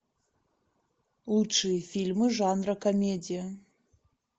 лучшие фильмы жанра комедия